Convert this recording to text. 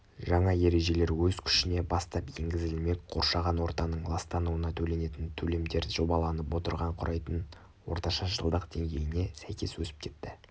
жаңа ережелер өз күшіне бастап енгізілмек қоршаған ортаның ластануына төленетін төлемдер жобаланып отырған құрайтын орташа жылдық деңгейіне сәйкес өсіп кетті